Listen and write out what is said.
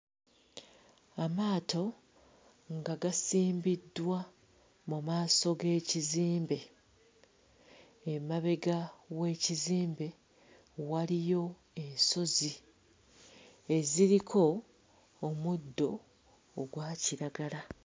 Amaato nga gasimbiddwa mu maaso g'ekizimbe, emabega w'ekizimbe waliyo ensozi eziriko omuddo ogwa kiragala.